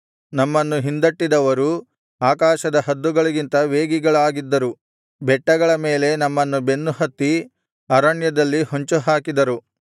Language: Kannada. ನಮ್ಮನ್ನು ಹಿಂದಟ್ಟಿದವರು ಆಕಾಶದ ಹದ್ದುಗಳಿಗಿಂತ ವೇಗಿಗಳಾಗಿದ್ದರು ಬೆಟ್ಟಗಳ ಮೇಲೆ ನಮ್ಮನ್ನು ಬೆನ್ನು ಹತ್ತಿ ಅರಣ್ಯದಲ್ಲಿ ಹೊಂಚುಹಾಕಿದರು